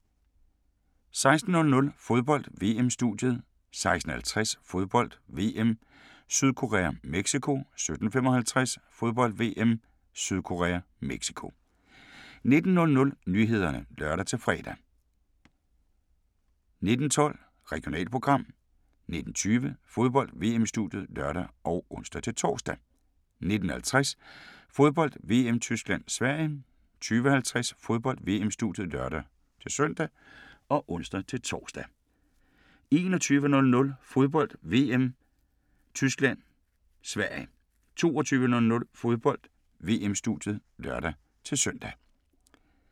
16:00: Fodbold: VM-studiet 16:50: Fodbold: VM - Sydkorea-Mexico 17:55: Fodbold: VM - Sydkorea-Mexico 19:00: Nyhederne (lør-fre) 19:12: Regionalprogram 19:20: Fodbold: VM-studiet (lør og ons-tor) 19:50: Fodbold: VM - Tyskland-Sverige 20:50: Fodbold: VM-studiet (lør-søn og ons-tor) 21:00: Fodbold: VM - Tyskland-Sverige 22:00: Fodbold: VM-studiet (lør-søn)